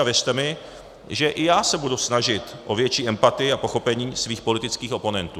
A věřte mi, že i já se budu snažit o větší empatii a pochopení svých politických oponentů.